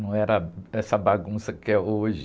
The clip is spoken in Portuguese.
Não era essa bagunça que é hoje.